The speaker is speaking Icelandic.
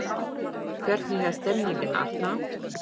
Hvernig er stemningin Arnar?